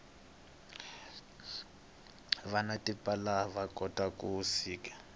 vanwa tipala vakota ku siva